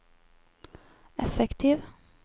effektiv